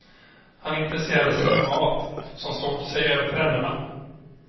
Han intresserade sig för mat som stod sig över trenderna.